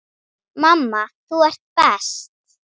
Mamma, þú ert best.